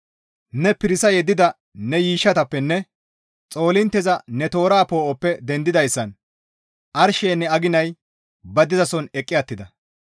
Ne pirisa yeddida ne yiishshatappenne xolqettiza ne toora poo7oppe dendidayssan arsheynne aginay ba dizason eqqi attida.